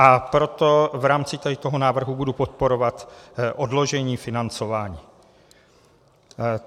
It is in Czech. A proto v rámci tady toho návrhu budu podporovat odložení financování.